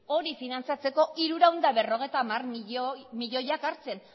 hori finantzatzeko hirurehun eta berrogeita hamar milioiak hartzen